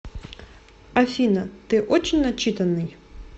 афина ты очень начитанный